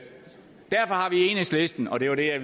enhedslisten og det var det jeg